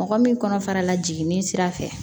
Mɔgɔ min kɔnɔ fara la jiginni sira fɛ